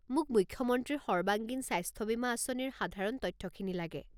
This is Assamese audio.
মোক মুখ্যমন্ত্ৰীৰ সৰ্বাংগীন স্বাস্থ্য বীমা আঁচনিৰ সাধাৰণ তথ্যখিনি লাগে।